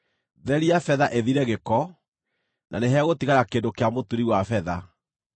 Theria betha ĩthire gĩko, na nĩhegũtigara kĩndũ kĩa mũturi wa betha;